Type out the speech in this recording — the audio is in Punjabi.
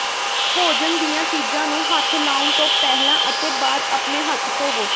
ਭੋਜਨ ਦੀਆਂ ਚੀਜ਼ਾਂ ਨੂੰ ਹੱਥ ਲਾਉਣ ਤੋਂ ਪਹਿਲਾਂ ਅਤੇ ਬਾਅਦ ਆਪਣੇ ਹੱਥ ਧੋਵੋ